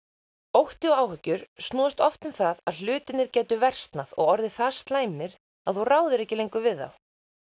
ótti og áhyggjur snúast oft um það að hlutirnir gætu versnað og orðið það slæmir að þú ráðir ekki lengur við þá